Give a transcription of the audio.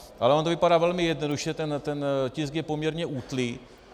Ale ono to vypadá velmi jednoduše, ten tisk je poměrně útlý.